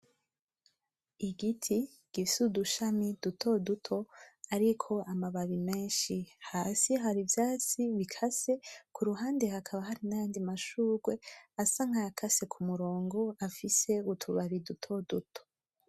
Igiti gifise udushami duto duto ariko amababi menshi, hasi hari ivyatsi bikase , ku ruhande hakaba hari n’ayandi mashurwe asa nk’ayakase ku murongo afise utubabi duto duto.